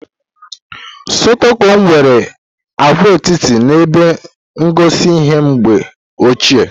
Stokom nwere agwaetiti na ebe ngosi ihe mgbe ochie.